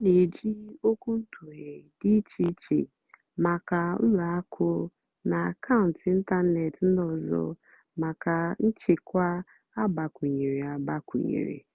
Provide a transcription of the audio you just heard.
ọ́ nà-èjì ókwúntụ̀ghé dì íché íché màkà ùlọ àkụ́ nà àkàụ́ntụ́ ị́ntánètị́ ndí ọ́zọ́ màkà nchèkwà àgbàkwúnyéré. àgbàkwúnyéré.